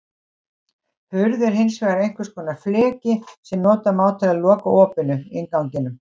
Hurð er hins vegar einhvers konar fleki sem nota má til að loka opinu, innganginum.